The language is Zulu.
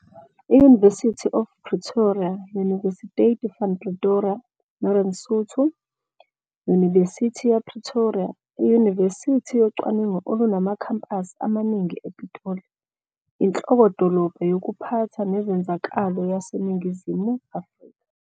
I-University of IPretoria - Universiteit van Pretoria, Northern Sotho - Yunibesithi ya Pretoria, iyunivesithi yocwaningo olunamakhampasi amaningi ePitoli, inhloko-dolobha yokuphatha nezenzakalo yaseNingizimu Afrika.